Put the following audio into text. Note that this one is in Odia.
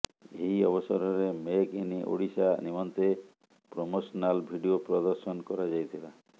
ଏହି ଅବସରରେ ମେକ୍ ଇନ୍ ଓଡ଼ିଶା ନିମନ୍ତେ ପ୍ରୋମୋସନାଲ୍ ଭିଡିଓ ପ୍ରଦର୍ଶନ କରାଯାଇଥିଲା